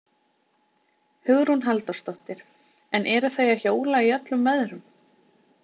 Hugrún Halldórsdóttir: En eru þau að hjóla í öllum veðrum?